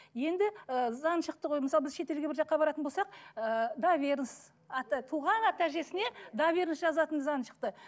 енді ы заң шықты ғой мысалы біз шетелге бір жаққа баратын болсақ ыыы доверенность туған ата әжесіне доверенность жазатын заң шықты